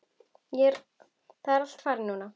Það er allt farið núna.